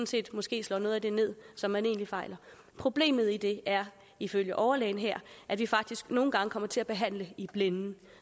set måske slår noget af det ned som man egentlig fejler problemet i det er ifølge overlægen her at vi faktisk nogle gange kommer til at behandle i blinde